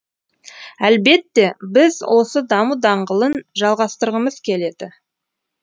әлбетте біз осы даму даңғылын жалғастырғымыз келеді